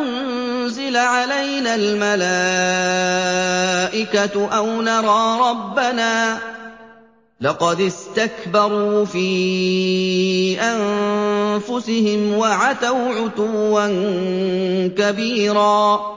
أُنزِلَ عَلَيْنَا الْمَلَائِكَةُ أَوْ نَرَىٰ رَبَّنَا ۗ لَقَدِ اسْتَكْبَرُوا فِي أَنفُسِهِمْ وَعَتَوْا عُتُوًّا كَبِيرًا